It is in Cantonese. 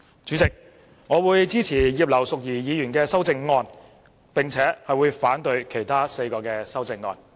主席，我會支持葉劉淑儀議員的修正案，並且會反對其他4項修正案。